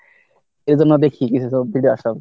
এজন্য দেখি কিছু সব video আসার জন্য।